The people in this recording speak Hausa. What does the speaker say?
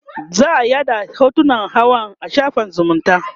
za'a yaɗa hotunan hawan a shafin zumunta